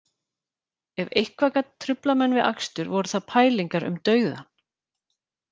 Ef eitthvað gat truflað menn við akstur voru það pælingar um dauðann